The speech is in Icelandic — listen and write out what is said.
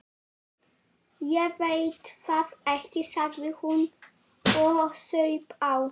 Ég veit það ekki, sagði hún og saup á.